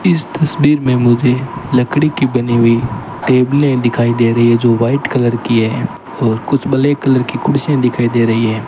इस तस्वीर में मुझे लकड़ी की बनी हुई टेबले दिखाई दे रही है जो व्हाइट कलर की है और कुछ ब्लैक कलर की कुर्सीयां दिखाई दे रही हैं।